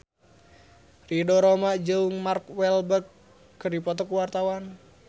Ridho Roma jeung Mark Walberg keur dipoto ku wartawan